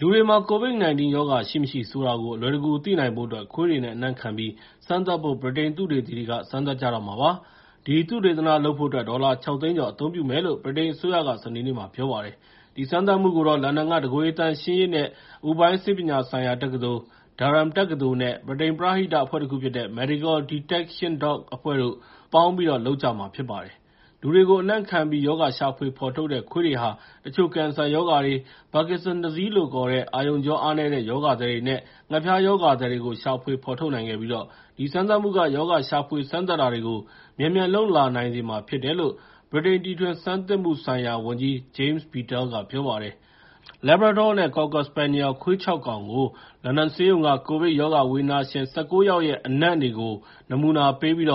လူတွေမှာ COVID-19 ရောဂါ ရှိမရှိ ဆိုတာကို အလွယ်တကူ သိနိုင်ဖို့အတွက် ခွေးတွေနဲ့ အနံ့ခံပြီး စမ်းသပ်ဖို့ ဗြိတိန်သုတေသီတွေ စမ်းသပ်ကြတော့မှာ ဖြစ်ပါတယ်။ ဒီသုတေသနလုပ်ဖို့အတွက် ဒေါ်လာ ၆ သိန်းကျော် အသုံးပြုမယ်လို့ ဗြိတိန်အစိုးရက စနေနေ့မှာ ပြောပါတယ်။ ဒီစမ်းသပ်မှုကိုတော့ လန်ဒန်က တကိုယ်ရေသန့်ရှင်းရေးနဲ့ အပူပိုင်းဆေးပညာဆိုင်ရာ Durham တက္ကသိုလ်နဲ့ ဗြိတိန် ပရဟိတအဖွဲ့တခုဖြစ်တဲ့ Medical Detection Dogs အဖွဲ့တို့ ပေါင်းပြီးတော့ လုပ်ကြမှာပါ။ လူတွေကို အနံ့ခံပြီး ရောဂါရှာဖွေဖော်ထုတ်တဲ့ ခွေးတွေဟာ တချို့ကင်ဆာရောဂါတွေ၊ Parkinson's Disease လို့ခေါ်တဲ့ အာရုံကြော အားနည်းတဲ့ ရောဂါသည်တွေနဲ့ ငှက်ဖျားရောဂါသည်တွေကို ရှာဖွေဖော်ထုတ်နိုင်ခဲ့ပြီး ဒီစမ်းသပ်မှုက ရောဂါရှာဖွေ စမ်းသပ်တာတွေကို မြန်မြန်လုပ်လာနိုင်စေမှာ ဖြစ်တယ်လို့ ဗြိတိန် တီထွင်ဆန်းသစ်မှုဆိုင်ရာဝန်ကြီး James Bethel က ပြောပါတယ်။ Labradors နဲ့ Cocker Spaniels ခွေး ၆ ကောင်ကို လန်ဒန်ဆေးရုံက COVID ရောဂါဝေဒနာရှင် ၁၉ ယောက်ရဲ့ အနံ့တွေကို နမူနာပေးပြီး